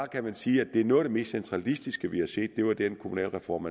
kan sige at noget af det mest centralistiske vi har set var den kommunalreform